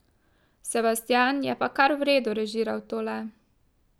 Sebastijan je pa kar v redu režiral tole.